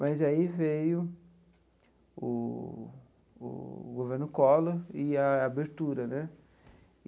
Mas aí veio o o governo Collor e a abertura né.